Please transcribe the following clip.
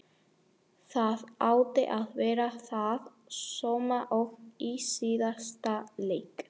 Það átti að vera það sama og í síðasta leik!